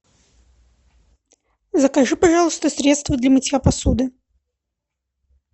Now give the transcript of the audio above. закажи пожалуйста средство для мытья посуды